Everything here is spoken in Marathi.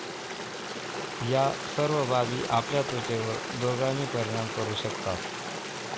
या सर्व बाबी आपल्या त्वचेवर दूरगामी परिणाम करू शकतात.